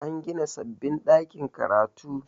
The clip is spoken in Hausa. an gina sababbin ɗakin karatu